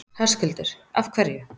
Höskuldur: Af hverju?